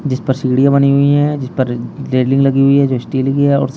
जिसपर सीढ़ियां बनी हुई हैं जिसपर रे रेलिंग लगी हुई है जो स्टील की है और सा --